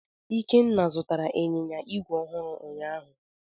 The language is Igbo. Ikenna zụtara Ịnyịnya igwe ọhụrụ ụnyaahụ.